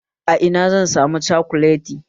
A ina zan samu cokolati?